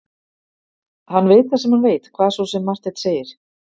Hann veit það sem hann veit, hvað svo sem Marteinn segir.